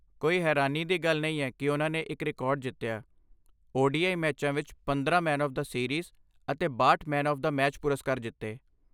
ਕੋਈ ਹੈਰਾਨੀ ਦੀ ਗੱਲ ਨਹੀਂ ਹੈ ਕਿ ਓਨ੍ਹਾਂ ਨੇ ਇੱਕ ਰਿਕਾਰਡ ਜਿੱਤਿਆ, ਓ ਡੀ ਆਈ ਮੈਚਾਂ ਵਿੱਚ ਪੰਦਰਾਂ ਮੈਨ ਆਫ਼਼ ਦਾ ਸੀਰੀਜ਼ ਅਤੇ ਬਾਹਟ ਮੈਨ ਆਫ਼਼ ਦਾ ਮੈਚ ਪੁਰਸਕਾਰ ਜਿੱਤੇ